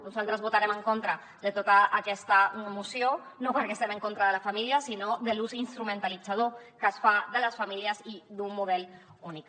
nosaltres votarem en contra de tota aquesta moció no perquè estiguem en contra de la família sinó de l’ús instrumentalitzador que es fa de les famílies i d’un model únic